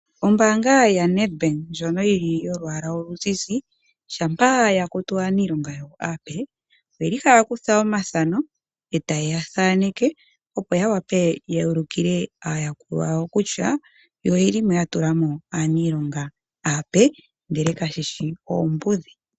Ombanga ya NedBank ndjoka yolwala oluzizi, shampa ya kutu aaniilonga ape, oyeli haya kutha omathano, eta yeya thaneke, opo ya ulikile aayakulwa yawo kutya oyeli yatulamo aaniilonga apee, ndele kayeshi oombudhi.